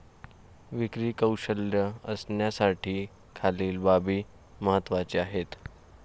विक्री कौशल्य असण्यासाठी खालील बाबी महत्वाच्या आहेत.